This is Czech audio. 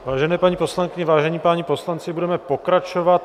Vážené paní poslankyně, vážení páni poslanci, budeme pokračovat.